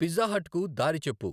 Pizza హాట్కు దారి చెప్పు.